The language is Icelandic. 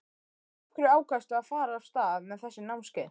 Af hverju ákvaðstu að fara af stað með þessi námskeið?